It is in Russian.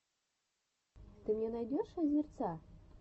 ты мне найдешь азерца